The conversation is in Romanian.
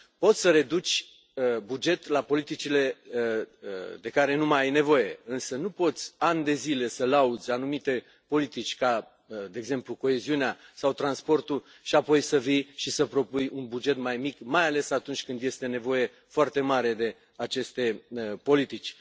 Poți să reduci bugetul la politicile de care nu mai ai nevoie însă nu poți, ani de zile, să lauzi anumite politici, ca de exemplu coeziunea sau transportul și apoi să vii și să propui un buget mai mic, mai ales atunci când este nevoie foarte mare de aceste politici.